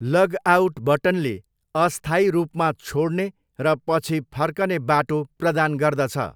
Logout बटनले अस्थायी रूपमा छोड्ने र पछि फर्कने बाटो प्रदान गर्दछ।